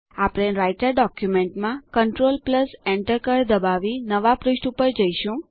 આપણે રાઈટર ડોક્યુમેન્ટમાં control Enter કળ દબાવી નવા પૃષ્ઠ પર જઈશું